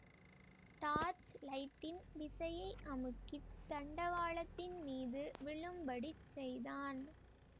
torch லைட்டின் விசையை அமுக்கித் தண்டவாளத்தின் மீது விழும்படிச் செய்தான்